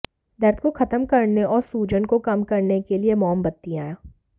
दर्द को खत्म करने और सूजन को कम करने के लिए मोमबत्तियां